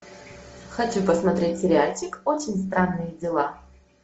хочу посмотреть сериальчик очень странные дела